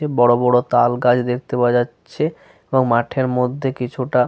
যে বড়বড় তালগাছ দেখতে পাওয়া যাচ্ছে এবং মাঠের মধ্যে কিছুটা --